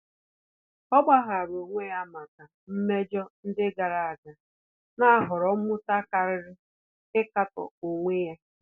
Ọ́ gbàghàrà onwe ya màkà mmejọ ndị gàrà ága, nà-àhọ̀rọ́ mmụta kàrị́rị́ íkàtọ́ onwe ya.